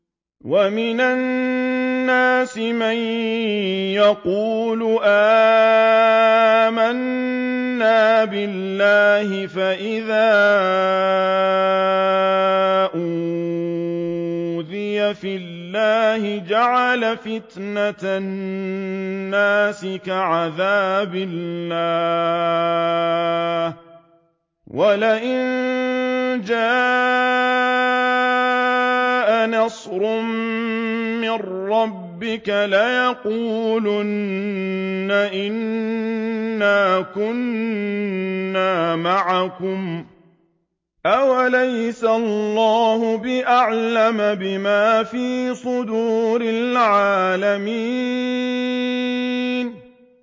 وَمِنَ النَّاسِ مَن يَقُولُ آمَنَّا بِاللَّهِ فَإِذَا أُوذِيَ فِي اللَّهِ جَعَلَ فِتْنَةَ النَّاسِ كَعَذَابِ اللَّهِ وَلَئِن جَاءَ نَصْرٌ مِّن رَّبِّكَ لَيَقُولُنَّ إِنَّا كُنَّا مَعَكُمْ ۚ أَوَلَيْسَ اللَّهُ بِأَعْلَمَ بِمَا فِي صُدُورِ الْعَالَمِينَ